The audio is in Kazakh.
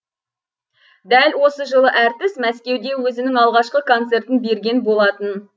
дәл осы жылы әртіс мәскеуде өзінің алғашқы концертін берген болатын